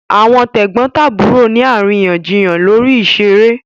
Àwọn tẹ̀gbọ́ntàbúrò ni àríyànjiyàn lórí ìṣeré